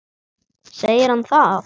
Segir hann það?